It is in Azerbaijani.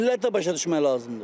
Milləti də başa düşmək lazımdır.